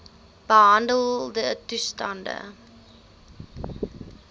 behandeltoestande